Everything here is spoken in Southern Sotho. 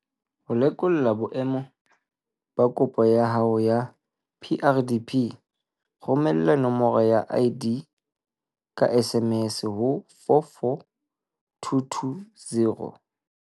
Ho lekola boemo ba kopo ya hao ya PrDP, romela nomoro ya ID ka SMS ho 44220.